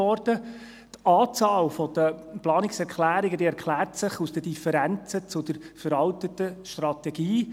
Die Anzahl der Planungserklärungen erklärt sich aus den Differenzen gegenüber der veralteten Strategie.